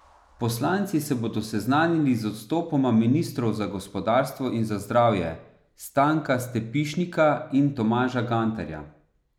Poslanci se bodo seznanili z odstopoma ministrov za gospodarstvo in za zdravje, Stanka Stepišnika in Tomaža Gantarja.